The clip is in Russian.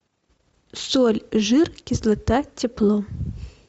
соль жир кислота тепло